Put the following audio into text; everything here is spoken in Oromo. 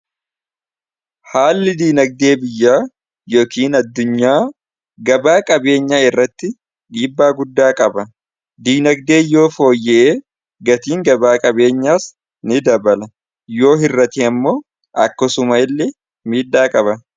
haalli diinagdee biyya yookiin addunyaa gabaa qabeenyaa irratti dhiibbaa guddaa qaba diinagdee yoo fooyyee gatiin gabaa qabeenyaas ni dabala yoo hirrate ammoo akkasuma illee miidhaa qaba